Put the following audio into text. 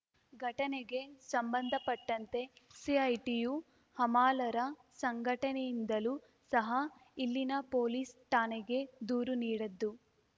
ಘಟನೆಗೆ ಸಂಬಂಧಪಟ್ಟಂತೆ ಸಿಐಟಿಯು ಹಮಾಲರ ಸಂಘಟನೆಯಿಂದಲೂ ಸಹ ಇಲ್ಲಿನ ಪೊಲೀಸ್‌ ಠಾಣೆಗೆ ದೂರು ನೀಡದ್ದು